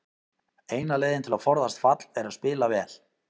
Eina leiðin til að forðast fall er að spila vel.